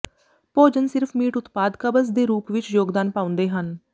ਭੋਜਨ ਸਿਰਫ ਮੀਟ ਉਤਪਾਦ ਕਬਜ਼ ਦੇ ਰੂਪ ਵਿਚ ਯੋਗਦਾਨ ਪਾਉਂਦੇ ਹਨ